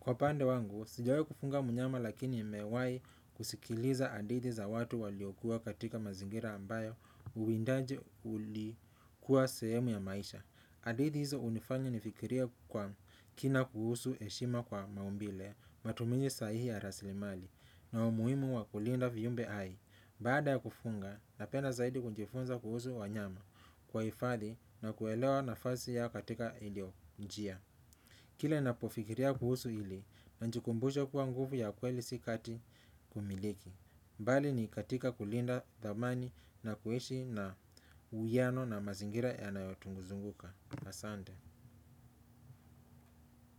Kwa upande wangu, sijawahi kufuga mnyama lakini nimewahi kusikiliza hadithi za watu waliokuwa katika mazingira ambayo uwindaji ulikuwa sehemu ya maisha. Hadithi hizo hunifanya nifikirie kwa kina kuhusu heshima kwa maumbile, matumizi sahihi ya rasilimali na umuhimu wa kulinda viumbe hai. Baada ya kufuga, napenda zaidi kujifunza kuhusu wanyama kuwahifadhi na kuelewa nafasi yao katika mazingira. Kile ninapofikiria kuhusu hili, najikumbusha kuwa nguvu ya kweli si kati kumiliki. Bali iko katika kulinda thamani na kuishi na uwiano na mazingira yanayotuzunguka. Asante.